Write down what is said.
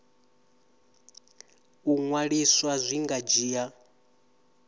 u ṅwaliswa zwi nga dzhia